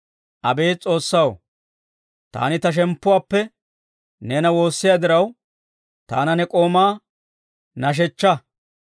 Abeet S'oossaw, taani ta shemppuwaappe neena woossiyaa diraw, taana, ne k'oomaa nashshechchaa.